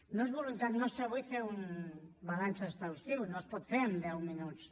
no és voluntat nostra fer ne un balanç exhaustiu no es pot fer en deu minuts